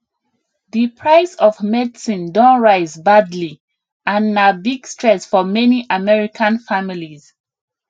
di price of medicine don rise badly and na big stress for many american families